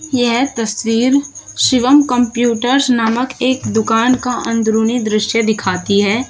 यह तस्वीर शिवम कंप्यूटर्स नामक एक दुकान का अंदरूनी दृश्य दिखाती है।